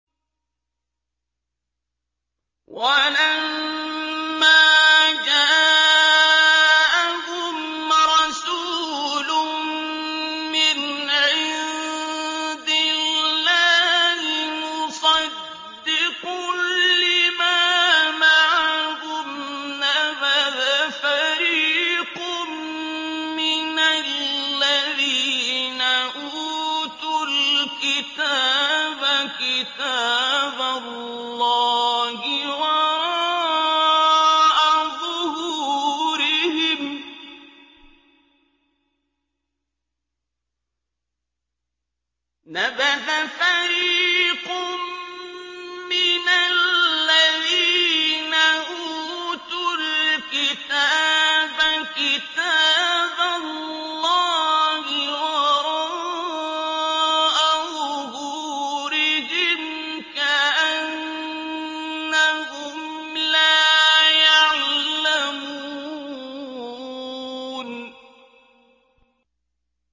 وَلَمَّا جَاءَهُمْ رَسُولٌ مِّنْ عِندِ اللَّهِ مُصَدِّقٌ لِّمَا مَعَهُمْ نَبَذَ فَرِيقٌ مِّنَ الَّذِينَ أُوتُوا الْكِتَابَ كِتَابَ اللَّهِ وَرَاءَ ظُهُورِهِمْ كَأَنَّهُمْ لَا يَعْلَمُونَ